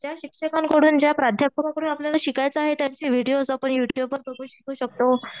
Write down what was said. ज्या शिक्षकांकडून, ज्या प्राध्यापकांकडून आपल्याला शिकायचे आहे, त्यांची व्हिडीओज आपण युट्युब वर बघून शिकू शकतो.